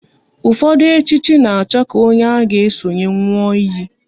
Ụfọdụ echichi na-achọ ka onye a ga esonye nwụọ iyi